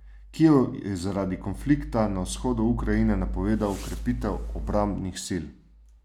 Kijev je zaradi konflikta na vzhodu Ukrajine napovedal krepitev obrambnih sil.